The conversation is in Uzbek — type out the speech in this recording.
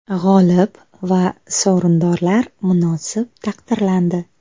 G‘olib va sovrindorlar munosib taqdirlandi.